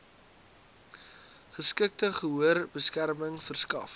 geskikte gehoorbeskerming verskaf